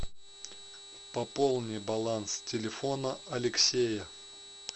пополни баланс телефона алексея